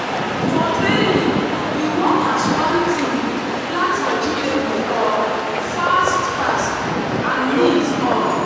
for training we work as one team plant vegetable um fast-fast and neat. um